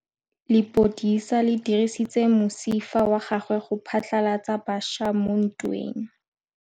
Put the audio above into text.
Lepodisa le dirisitse mosifa wa gagwe go phatlalatsa batšha mo ntweng.